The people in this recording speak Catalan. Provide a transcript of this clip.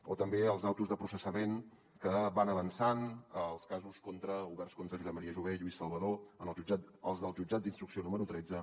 o també les ordres de processament que van avançant els casos contra governs contra josep maria jové contra lluís salvadó els del jutjat d’instrucció número tretze